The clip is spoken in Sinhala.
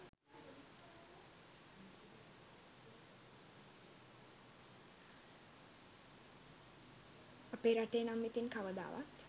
අපේ රටේ නම් ඉතින් කවදාවත්